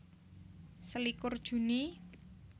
Selikur Juni